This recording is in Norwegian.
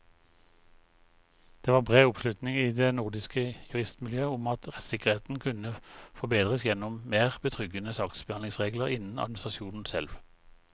Det var bred oppslutning i det nordiske juristmiljøet om at rettssikkerheten kunne forbedres gjennom mer betryggende saksbehandlingsregler innenfor administrasjonen selv.